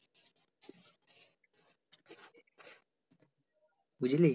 বুঝলি?